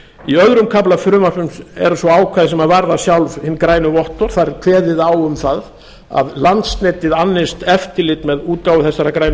í öðrum kafla frumvarpsins eru svo ákvæði sem varða sjálf hin grænu vottorð þar er kveðið á um það að landsnetið annist eftirlit með útgáfu þessara grænu